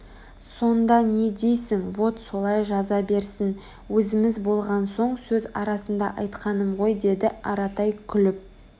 сонда не дейсің вот солай жаза берсін Өзіміз болған соң сөз арасында айтқаным ғой -деді аратай күліп